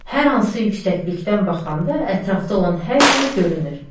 Hər hansı yüksəklikdən baxanda ətrafda olan hər şey görünür.